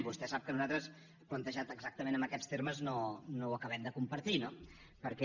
vostè sap que nosaltres plantejat exactament en aquests termes no ho acabem de compartir no perquè